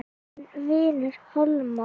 Þinn vinur Hólmar.